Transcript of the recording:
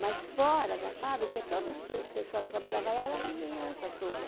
Mas fora da fábrica, todas pe pessoa que trabalhava lá era a vizinhança toda.